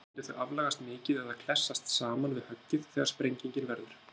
Annars myndu þau aflagast mikið eða klessast saman við höggið þegar sprengingin verður.